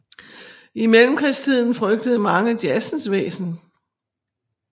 I Mellemkrigstiden frygtede mange jazzens væsen